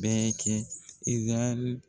Bɛɛ kɛ.